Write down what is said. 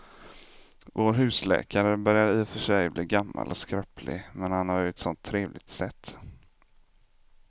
Vår husläkare börjar i och för sig bli gammal och skröplig, men han har ju ett sådant trevligt sätt!